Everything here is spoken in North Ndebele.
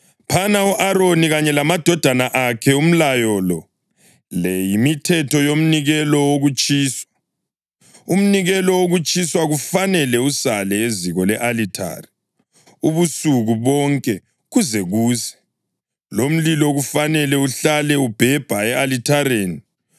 “Phana u-Aroni kanye lamadodana akhe umlayo lo: ‘Le yimithetho yomnikelo wokutshiswa: Umnikelo wokutshiswa kufanele usale eziko le-alithari ubusuku bonke kuze kuse, lomlilo kufanele uhlale ubhebha e-alithareni.